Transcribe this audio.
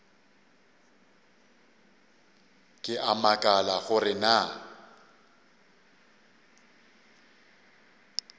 ke a makala gore na